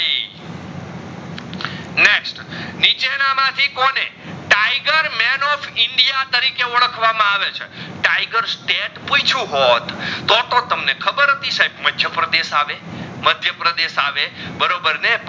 ના માં થી કોને tiger man of india તરીકે ઓડખવામાં આવે છે tiger state પૂછ્યું હોટ તો તો સહબે ખબર હતી તમને મધ્યપ્રદેશ આવે મધ્યપ્રદેશ આવે બરાબર